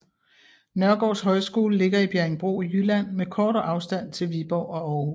Nørgaards Højskole ligger i Bjerringbro i Jylland med kort afstand til Viborg og Århus